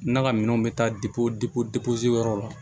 N'a ka minɛnw bɛ taa yɔrɔ la